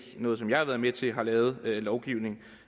noget som jeg har været med til har lavet lovgivning